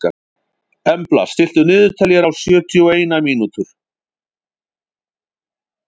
Embla, stilltu niðurteljara á sjötíu og eina mínútur.